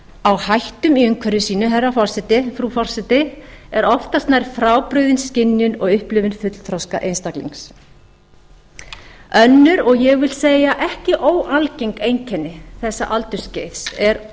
á hættum í umhverfi sínu frú forseti er oftast nær frábrugðin skynjun og upplifun fullþroska einstaklings önnur og ég vil segja ekki óalgeng einkenni þessa aldursskeiði er